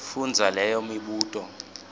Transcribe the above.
fundza leyo mibuto